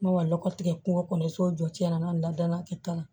N ma lɔgɔ tigɛ kungo kɔnɔ so jɔ cɛn na n'a ladonna ka kɛ tan